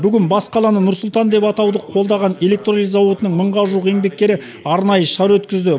бүгін бас қаланы нұр сұлтан деп атауды қолдаған электролиз зауытының мыңға жуық еңбеккері арнайы шара өткізді